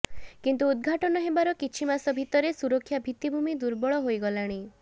କିନ୍ତୁ ଉଦ୍ଘାଟନ ହେବାର କିଛି ମାସ ଭିତରେ ସୁରକ୍ଷା ଭିତ୍ତିଭୂମି ଦୁର୍ବଳ ହୋଇଗଲାଣି